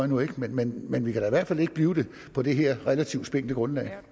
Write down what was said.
nu ikke men men vi kan da i hvert fald ikke blive det på det her relativt spinkle grundlag